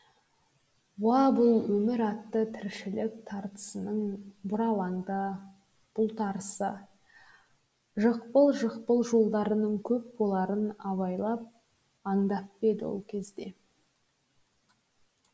уа бұл өмір атты тіршілік тартысының бұралаңды бұлтарысы жықпыл жықпыл жолдарының көп боларын абайлап аңдап па еді ол кезде